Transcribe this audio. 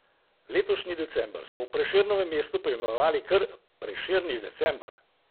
Letošnji december so v Prešernovem mestu poimenovali kar Prešerni december.